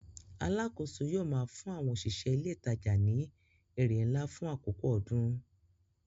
Alákòóso yóò máa fún àwọn òṣìṣẹ́ ilé ìtajà ní èrè ńlá fún àkókò ọdún.